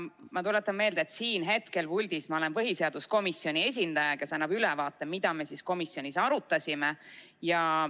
Aga ma tuletan meelde, et siin hetkel puldis ma olen põhiseaduskomisjoni esindaja, kes annab ülevaate, mida me komisjonis arutasime.